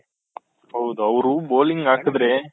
ಹೌದು ಅವ್ರು bowling ಹಾಕುದ್ರೆ